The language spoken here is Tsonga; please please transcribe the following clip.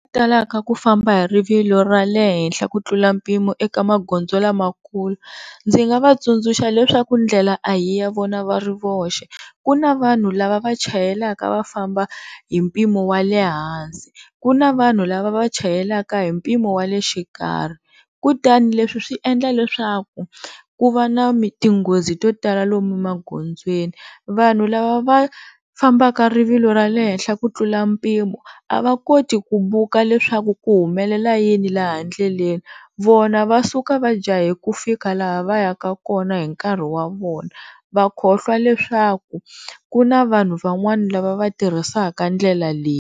Vanhu lava talaka ku famba hi rivilo ra le henhla ku tlula mpimo eka magondzo lamakulu, ndzi nga vatsundzuxa leswaku ndlela a hi ya vona va ri voxe, ku na vanhu lava vachayelaka va famba hi mpimo wa le hansi ku na vanhu lava vachayelaka hi mpimo wale xikarhi kutani leswi swi endla leswaku ku va na tinghozi to tala lomu magondzweni. Vanhu lava va fambaka rivilo ra le henhla ku tlula mpimo a va koti ku vuku leswaku ku humelela yini laha ndleleni, vona va suka va jaha ku fika laha va ya ka kona hi nkarhi wa vona va khohlwa leswaku ku na vanhu van'wani lava va tirhisaka ndlela leyi.